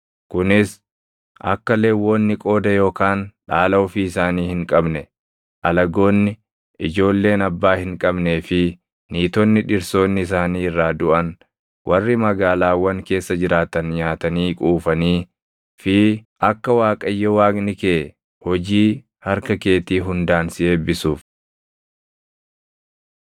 Kunis akka Lewwonni qooda yookaan dhaala ofii isaanii hin qabne, alagoonni, ijoolleen abbaa hin qabnee fi niitonni dhirsoonni isaanii irraa duʼan warri magaalaawwan keessa jiraatan nyaatanii quufanii fi akka Waaqayyo Waaqni kee hojii harka keetii hundaan si eebbisuuf.